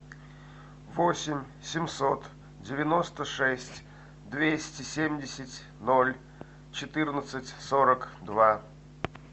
восемь семьсот девяносто шесть двести семьдесят ноль четырнадцать сорок два